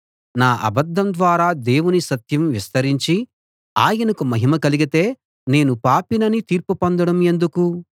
నా అబద్ధం ద్వారా దేవుని సత్యం విస్తరించి ఆయనకు మహిమ కలిగితే నేను పాపినని తీర్పు పొందడం ఎందుకు